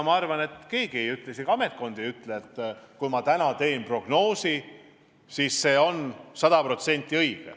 Ma arvan, et keegi ei ütle, isegi ametkond ise ei ütle, et kui ma täna teen prognoosi, siis see on sada protsenti õige.